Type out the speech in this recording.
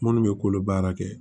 Munnu bɛ kolo baara kɛ